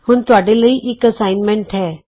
ਹੁਣ ਤੁਹਾਡੇ ਲਈ ਇਕ ਅਸਾਈਨਮੈਂਟ ਹੈ